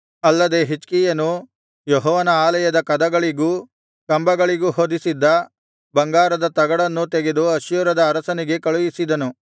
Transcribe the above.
ಅಲ್ಲದೆ ಹಿಜ್ಕೀಯನು ಯೆಹೋವನ ಆಲಯದ ಕದಗಳಿಗೂ ಕಂಬಗಳಿಗೂ ಹೊದಿಸಿದ್ದ ಬಂಗಾರದ ತಗಡನ್ನೂ ತೆಗೆದು ಅಶ್ಶೂರದ ಅರಸನಿಗೆ ಕಳುಹಿಸಿದನು